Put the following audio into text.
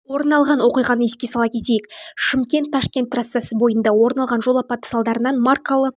орын алған оқиғаны еске сала кетейік шымкент-ташкент трассасы бойында орын алған жол апаты салдарынан маркалы